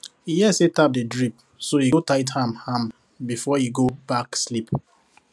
e hear say tap dey drip so e go tight am am before e go back sleep